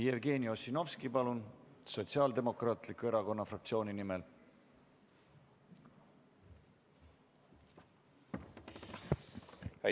Jevgeni Ossinovski, palun, Sotsiaaldemokraatliku Erakonna fraktsiooni nimel!